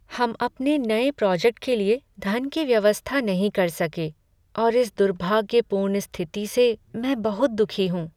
हम अपने नए प्रोजेक्ट के लिए धन की व्यवस्था नहीं कर सके और इस दुर्भाग्यपूर्ण स्थिति से मैं बहुत दुखी हूँ।